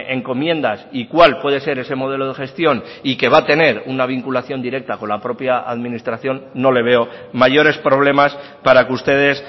encomiendas y cuál puede ser ese modelo de gestión y que va a tener una vinculación directa con la propia administración no le veo mayores problemas para que ustedes